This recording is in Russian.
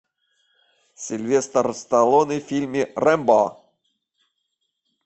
сильвестр сталлоне в фильме рэмбо